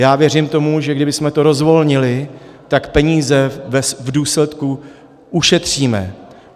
Já věřím tomu, že kdybychom to rozvolnili, tak peníze v důsledku ušetříme.